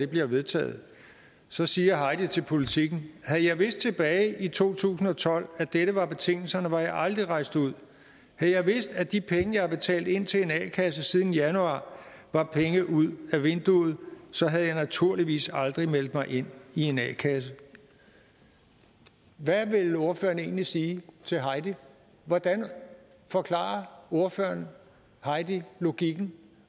bliver vedtaget så siger heidi til politiken havde jeg vidst tilbage i to tusind og tolv at dette var betingelserne var jeg aldrig rejst ud havde jeg vidst at de penge jeg har betalt ind til en a kasse siden januar var penge ud ad vinduet så havde jeg naturligvis aldrig meldt mig ind i en a kasse hvad vil ordføreren egentlig sige til heidi hvordan forklarer ordføreren heidi logikken